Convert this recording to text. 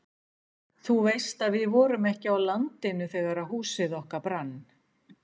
Þú veist að við vorum ekki á landinu þegar húsið okkar brann?